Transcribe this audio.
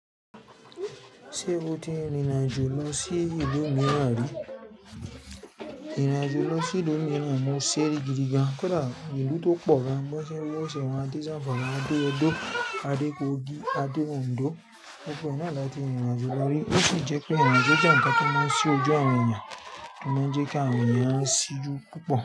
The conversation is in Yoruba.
Ṣé o ti rínrìnàjò lọ sí ìlú míràn rí? Ìrìnàjò lọ sí ìlú mi ran mo ṣeri gidigan. Kódà ìlú tó pọ̀ la mọ́ ṣe bò ṣèwà yẹn a dé Zamfara, a dé Edo, a dé Kogi, a dé Ondo gbogbo ẹ̀ náà láti rìnrìnàjò lórí ó sì jẹ́ pé àwọn ìrìnàjò jẹ́ ǹkan tó máa ń ṣí ojú àwọn èèyàn kún kí àwọn èèyàn á ṣí jù púpọ̀